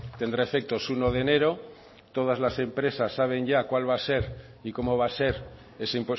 tendrá efectos uno de enero todas las empresas saben ya cuál va a ser y cómo va a ser ese